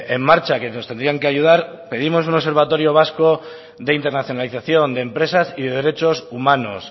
en marcha que nos tendrían que ayudar pedimos un observatorio vasco de internacionalización de empresas y de derechos humanos